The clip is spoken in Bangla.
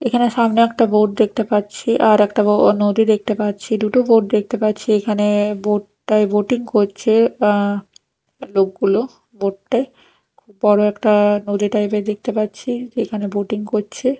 এখানে সামনে একটি বোট দেখতে পাচ্ছি আর একটা বো নদী দেখতে পাচ্ছি দুটো বোট দেখতে পাচ্ছি এখানে বোট -টায় বোটিং করছে আঃ লোকগুলো বোট -টায় খুব বড়ো একটা নদী টাইপ -এর দেখতে পাচ্ছি এখানে বোটিং করছে।